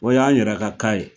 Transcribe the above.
O y'an yɛrɛ ka ka ye